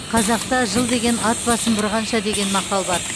қазақта жыл деген ат басын бұрғанша деген мақал бар